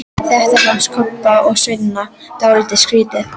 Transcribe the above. Þetta fannst Kobba og Svenna dálítið skrýtið.